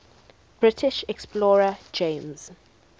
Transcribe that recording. british explorer james